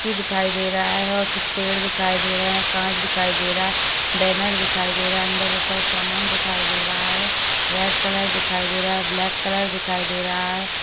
दिखाई दे रहा हैं और कुछ पेड़ दिखाई दे रहे काँच दिखाई दे रहा हैं बैनर दिखाई दे रहा हैं अंदर बहोत सारा सामान दिखाई दे रहा हैं रेड कलर दिखाई दे रहा हैं ब्लैक कलर दिखाई दे रहा हैं।